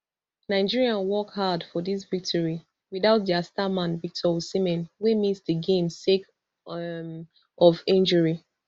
nigeria work hard for dis victory without dia star man victor osimhen wey miss di game sake um of injury